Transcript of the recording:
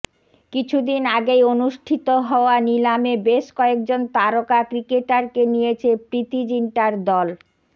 কিছুদিন আগেই অনুষ্ঠিত হওয়া নিলামে বেশ কয়েকজন তারকা ক্রিকেটারকে নিয়েছে প্রীতি জিন্টার দল